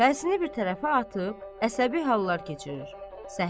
Fərzini bir tərəfə atıb əsəbi hallar keçirir.